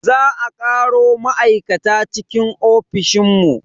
Za a karo ma'aikata cikin ofishin mu.